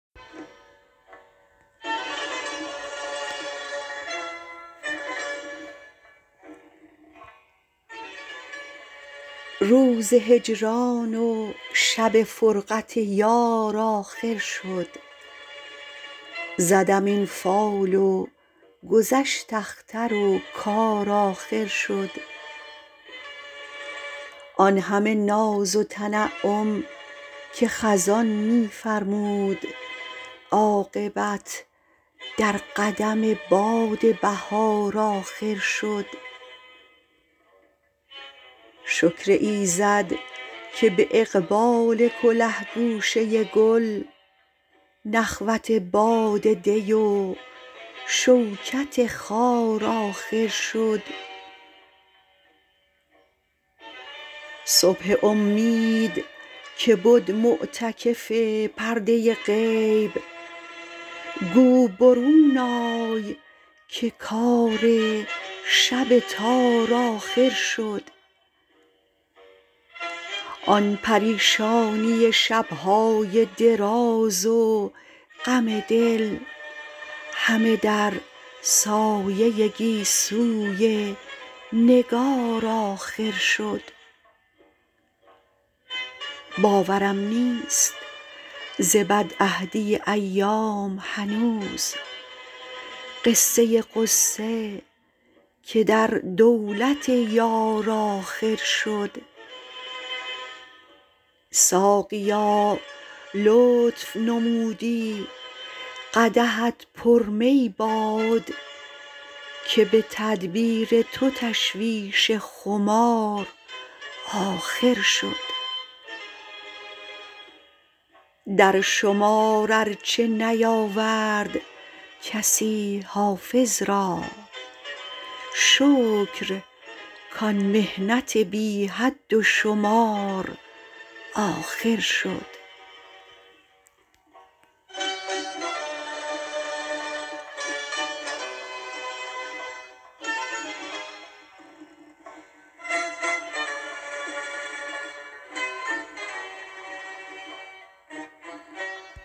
روز هجران و شب فرقت یار آخر شد زدم این فال و گذشت اختر و کار آخر شد آن همه ناز و تنعم که خزان می فرمود عاقبت در قدم باد بهار آخر شد شکر ایزد که به اقبال کله گوشه گل نخوت باد دی و شوکت خار آخر شد صبح امید که بد معتکف پرده غیب گو برون آی که کار شب تار آخر شد آن پریشانی شب های دراز و غم دل همه در سایه گیسوی نگار آخر شد باورم نیست ز بدعهدی ایام هنوز قصه غصه که در دولت یار آخر شد ساقیا لطف نمودی قدحت پر می باد که به تدبیر تو تشویش خمار آخر شد در شمار ار چه نیاورد کسی حافظ را شکر کان محنت بی حد و شمار آخر شد